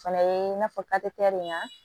O fɛnɛ ye in'a fɔ de kan